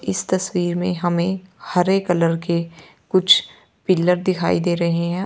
इस तस्वीर में हमे हरे कलर के कुछ पिलर दिखाई दे रहे है।